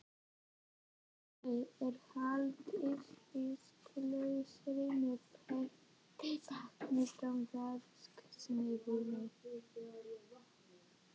Þrónni er haldið íslausri með heitu vatni frá verksmiðjunni.